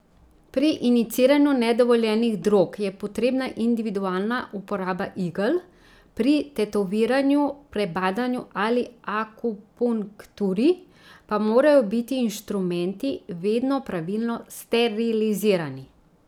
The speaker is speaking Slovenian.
Pri injiciranju nedovoljenih drog je potrebna individualna uporaba igel, pri tetoviranju, prebadanju ali akupunkturi pa morajo biti inštrumenti vedno pravilno sterilizirani.